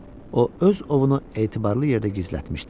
O öz ovunu etibarlı yerdə gizlətmişdi.